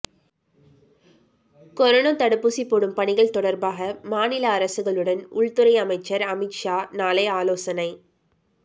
corona தடுப்பூசி போடும் பணிகள் தொடர்பாக மாநில அரசுகளுடன் உள்துறை அமைச்சர் அமித்ஷா நாளை ஆலோசனை